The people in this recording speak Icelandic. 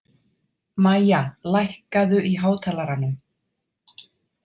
Mæja, lækkaðu í hátalaranum.